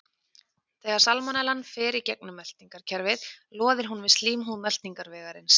Þegar salmonellan fer í gegnum meltingarkerfið loðir hún við slímhúð meltingarvegarins.